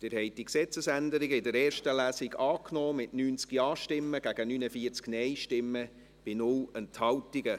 Sie haben diese Gesetzesänderung in der ersten Lesung angenommen, mit 90 Ja- gegen 49 Nein-Stimmen bei 0 Enthaltungen.